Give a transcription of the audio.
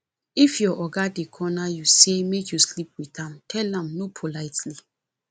if your oga dey corner you sey make you sleep witn am tell am no politely